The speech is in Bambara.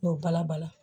N y'o bala bala